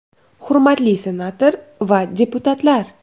Hurmatli senator va deputatlar!